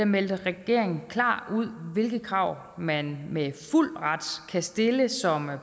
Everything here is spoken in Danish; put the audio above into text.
meldte regeringen klart ud hvilke krav man med fuld ret kan stille som